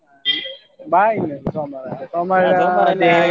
ಬಾ ಹಂಗಾದ್ರೆ ಸೋಮವಾರ .